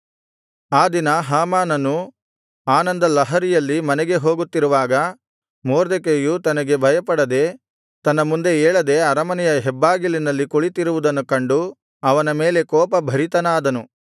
ಆ ದಿನ ಹಾಮಾನನು ಆನಂದಲಹರಿಯಲ್ಲಿ ಮನೆಗೆ ಹೋಗುತ್ತಿರುವಾಗ ಮೊರ್ದೆಕೈಯು ತನಗೆ ಭಯಪಡದೆ ತನ್ನ ಮುಂದೆ ಏಳದೆ ಅರಮನೆಯ ಹೆಬ್ಬಾಗಿಲಿನಲ್ಲಿ ಕುಳಿತಿರುವುದನ್ನು ಕಂಡು ಅವನ ಮೇಲೆ ಕೋಪಭರಿತನಾದನು